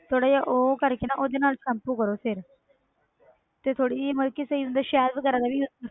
ਥੋੜ੍ਹਾ ਜਿਹਾ ਉਹ ਕਰਕੇ ਨਾ ਉਹਦੇ ਨਾਲ shampoo ਕਰੋ ਫਿਰ ਤੇ ਥੋੜ੍ਹੀ ਜਿਹੀ ਮਤਲਬ ਕਿ ਤੇ ਜਿੱਦਾਂ ਸ਼ਹਿਦ ਵਗ਼ੈਰਾ ਦਾ ਵੀ use